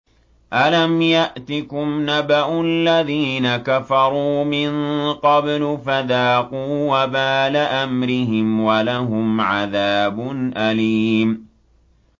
أَلَمْ يَأْتِكُمْ نَبَأُ الَّذِينَ كَفَرُوا مِن قَبْلُ فَذَاقُوا وَبَالَ أَمْرِهِمْ وَلَهُمْ عَذَابٌ أَلِيمٌ